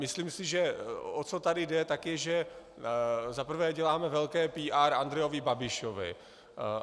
Myslím si, že o co tady jde, tak je, že za prvé děláme velké PR Andrejovi Babišovi.